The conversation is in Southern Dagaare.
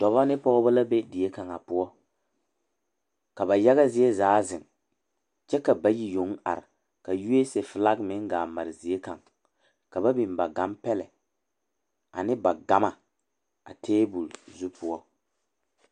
Doɔba ne pogeba la be die kanga poʊ. Ka ba yaga zie zaa zeŋ. Kyɛ ka bayi yong are ka USA flag meŋ gaa mare zie kang. Ka ba bin ba gane pɛle ane ba gama a tabul zu poʊ